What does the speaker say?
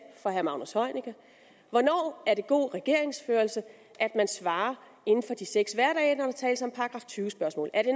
fra herre magnus heunicke hvornår er det god regeringsførelse at man svarer inden for de seks hverdage når der tales om § tyve spørgsmål er det